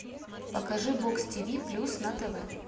покажи бокс тв плюс на тв